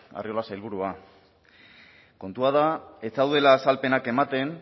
arriola sailburua kontua da ez zaudela azalpenak ematen